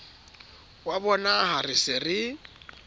wa bonaha re se re